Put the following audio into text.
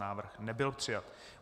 Návrh nebyl přijat.